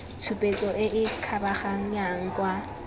tshupetso e e kgabaganyang kwa